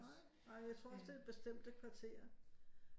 Nej jeg tror også det er bestemte kvarterer